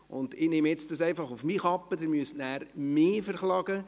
Ich nehme das nun auf meine Kappe, Sie müssen dann mich verklagen.